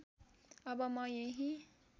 अब म यही